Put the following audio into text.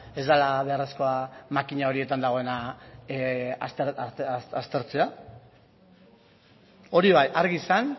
ez dela beharrezkoa makina horietan dagoena aztertzea hori bai argi izan